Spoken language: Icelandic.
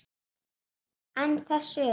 En þess utan?